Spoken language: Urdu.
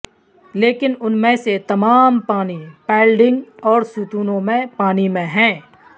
لیکن ان میں سے تمام پانی پائلڈنگ اور ستونوں میں پانی میں ہیں